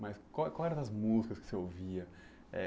Mas qual qual era das músicas que você ouvia? Eh